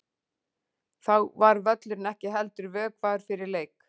Þá var völlurinn ekki heldur vökvaður fyrir leik.